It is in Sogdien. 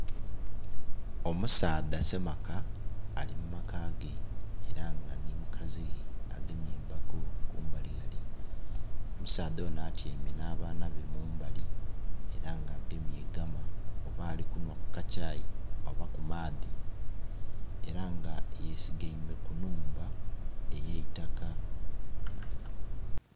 Omusaadha semaka alimumakage era nga nhi omukazi ghe agemye embago kumbali ghale omusaadha onho atyeime nhabaanabe mumbali eranga agemye egama oba alikunywa kukakyai oba kumadhi eranga yesigeme kunhumba eyeitaka